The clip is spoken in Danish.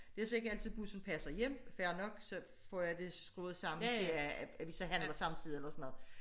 Det er så ikke altid bussen passer hjem fair nok så får jeg det skruet sammen til at vi så handler samtidig eller sådan noget